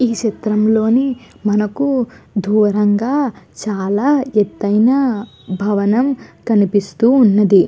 ఈ చిత్జ్రం లోని మనకి దూరం గ చాల ఎతుయ్న భవనం కనిపిస్తూ వున్నది.